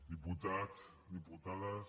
diputats diputades